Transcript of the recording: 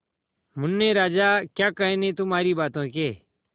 मुन्ने राजा क्या कहने तुम्हारी बातों के